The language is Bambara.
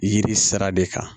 Yiri sira de kan